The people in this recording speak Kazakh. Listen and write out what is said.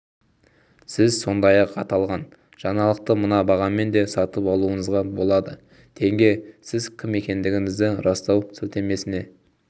сіз сондай-ақ аталған жаңалықты мына бағамен де сатып алуыңызға болады тенге сіз кім екендігіңізді растау сілтемесіне